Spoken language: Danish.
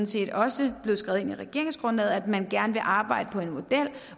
set også blevet skrevet ind i regeringsgrundlaget at man gerne vil arbejde på en model